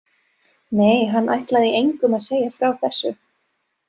Nei, hann ætlaði engum að segja frá þessu.